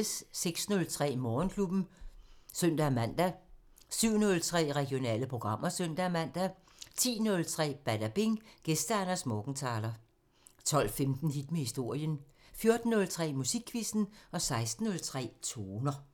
06:03: Morgenklubben (søn-man) 07:03: Regionale programmer (søn-man) 10:03: Badabing: Gæst Anders Morgenthaler 12:15: Hit med historien 14:03: Musikquizzen 16:03: Toner